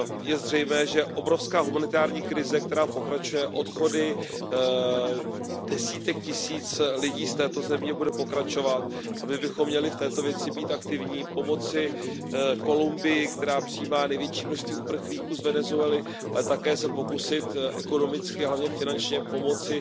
Je zřejmé, že obrovská humanitární krize, která pokračuje odchody desítek tisíc lidí z této země, bude pokračovat a my bychom měli v této věci být aktivní, pomoci Kolumbii, která přijímá největší množství uprchlíků z Venezuely, ale také se pokusit ekonomicky, ale hlavně finančně pomoci